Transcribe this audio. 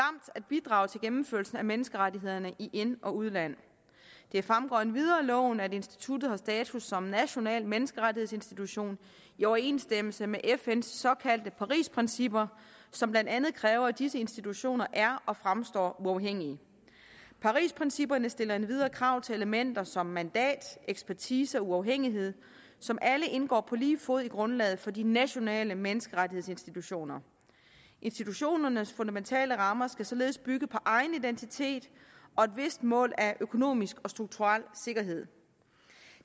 at bidrage til gennemførelsen af menneskerettighederne i ind og udland det fremgår endvidere af loven at instituttet har status som national menneskerettighedsinstitution i overensstemmelse med fns såkaldte parisprincipper som blandt andet kræver at disse institutioner er og fremstår uafhængige parisprincipperne stiller endvidere krav til elementer som mandat ekspertise og uafhængighed som alle indgår på lige fod i grundlaget for de nationale menneskerettighedsinstitutioner institutionernes fundamentale rammer skal således bygge på egen identitet og et vist mål af økonomisk og strukturel sikkerhed